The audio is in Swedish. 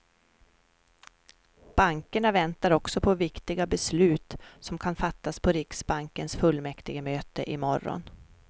Bankerna väntar också på viktiga beslut som kan fattas på riksbankens fullmäktigemöte i morgon.